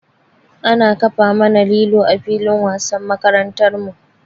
Ana kafa mana lilo a filin wasan makarantar mu.